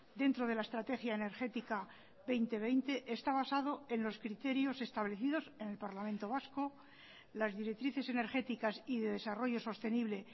dentro de la estrategia energética dos mil veinte está basado en los criterios establecidos en el parlamento vasco las directrices energéticas y de desarrollo sostenible